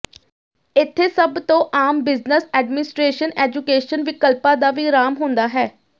ਇੱਥੇ ਸਭ ਤੋਂ ਆਮ ਬਿਜਨਸ ਐਡਮਿਨਿਸਟ੍ਰੇਸ਼ਨ ਐਜੂਕੇਸ਼ਨ ਵਿਕਲਪਾਂ ਦਾ ਵਿਰਾਮ ਹੁੰਦਾ ਹੈ